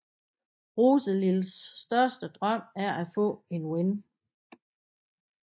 Roselils største drøm er at få en ven